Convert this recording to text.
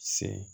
Se